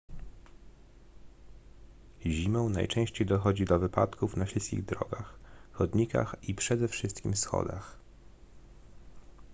zimą najczęściej dochodzi do wypadków na śliskich drogach chodnikach i przede wszystkim schodach